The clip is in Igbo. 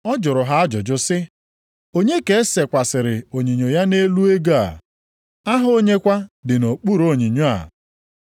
Ọ jụrụ ha ajụjụ sị, “Onye ka e sekwasịrị onyinyo ya nʼelu ego a? Aha onye kwa dị nʼokpuru onyinyo a?”